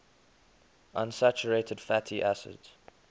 unsaturated fatty acids